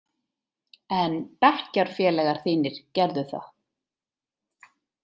En bekkjarfélagar þínir gerðu það.